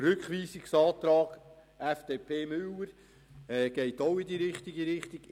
Der Rückweisungsantrag Müller Philippe, FDP, geht in die richtige Richtung.